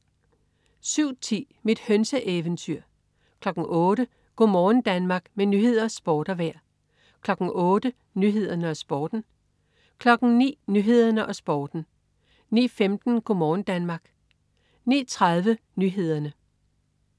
07.10 Mit hønseeventyr 08.00 Go' morgen Danmark. Med nyheder, sport og vejr 08.00 Nyhederne og Sporten 09.00 Nyhederne og Sporten 09.15 Go' morgen Danmark 09.30 Nyhederne